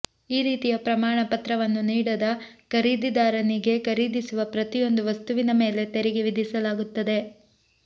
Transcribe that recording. ಈ ರೀತಿಯ ಪ್ರಮಾಣ ಪತ್ರವನ್ನು ನೀಡದ ಖರೀದಿದಾರನಿಗೆ ಖರೀದಿಸುವ ಪ್ರತಿಯೊಂದು ವಸ್ತುವಿನ ಮೇಲೆ ತೆರಿಗೆ ವಿಧಿಸಲಾಗುತ್ತದೆ